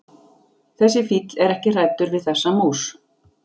Þessi fíll er ekki hræddur við þessa mús.